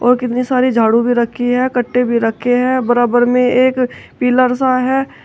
और कितनी सारी झाड़ू भी रखी है कट्टे भी रखे है बराबर में एक पिलर सा है।